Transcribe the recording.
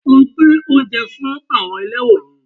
Lọ gbé oúnjẹ fún àwọn ẹlẹ́wọn yẹn